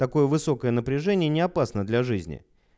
какое высокое напряжение не опасно для жизни